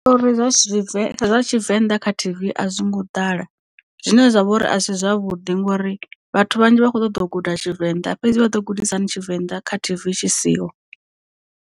Zwiṱori zwa tshivenḓa kha TV a zwi ngo ḓala zwine zwa vha uri a si zwavhuḓi ngori vhathu vhanzhi vha kho ṱoḓo guda tshivenḓa fhedzi vha ḓo gudisahani tshivenḓa kha TV tshi siho.